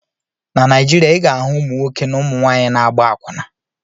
Na Naijiria, ị ga-ahụ ụmụnwoke na ụmụnwaanyị na-agba akwụna.